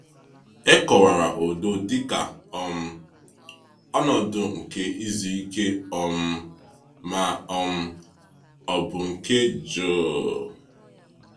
E kọwara udo dịka um ‘ọnọdụ nke izuike um ma um ọ bụ nke jụụ.’